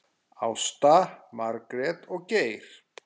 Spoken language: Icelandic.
Ásta, Margrét og Geir.